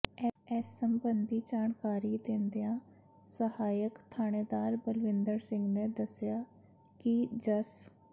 ਇਸ ਸਬੰਧੀ ਜਾਣਕਾਰੀ ਦਿੰਦਿਆਂ ਸਹਾਇਕ ਥਾਣੇਦਾਰ ਬਲਵਿੰਦਰ ਸਿੰਘ ਨੇ ਦੱਸਿਆ ਕਿ ਜਸ